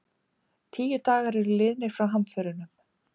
Tíu dagar eru liðnir frá hamförunum